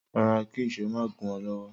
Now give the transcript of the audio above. Ro̩ra kí ìs̩ó má gún o̩ ló̩wó̩..